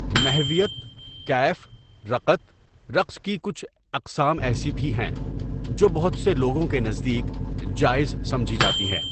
محویت، کیف، رقَت رقص کی کچھ اقسام ایسی بھی ہیں جو بہت سے لوگوں کے نزدیک جائز سمجھی جاتی ہے.